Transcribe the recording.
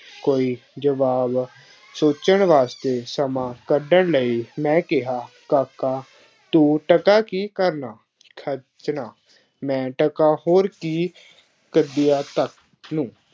ਕੋਈ ਜਵਾਬ ਸੋਚਣ ਵਾਸਤੇ ਸਮਾਂ ਕੱਢਣ ਲਈ ਮੈਂ ਕਿਹਾ ਕਾਕਾ ਤੂੰ ਟਕਾ ਕੀ ਕਰਨਾ, ਖਰਚਣਾ, ਮੈਂ ਟਕਾ ਹੋਰ ਕੀ ਤੱਕ ਨੂੰ